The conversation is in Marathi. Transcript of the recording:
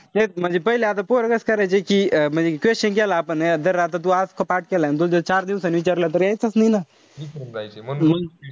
हेच म्हणजे पहिले आता पोरं कस करायचे. कि म्हणजे question केला आपण. जर आता तू आज पाठ केला अन तुल ज चार दिवसांनी विचारला. त यायचाच नाई ना.